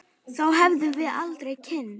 Þá hefðum við aldrei kynnst